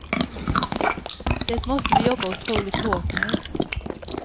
Det måste vi jobba otroligt hårt med.